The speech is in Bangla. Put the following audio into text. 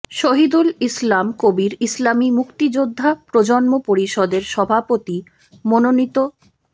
শহিদুল ইসলাম কবির ইসলামী মুক্তিযোদ্ধা প্রজন্ম পরিষদের সভাপতি মনোনীত